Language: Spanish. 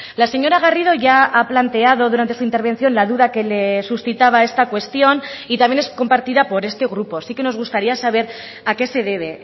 la señora garrido ya ha planteado durante su intervención la duda que le suscitaba esta cuestión y también es compartida por este grupo sí que nos gustaría saber a qué se debe